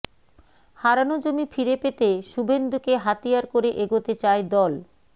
হারানো জমি ফিরে পেতে শুভেন্দু কে হাতিয়ার করে এগোতে চায় দল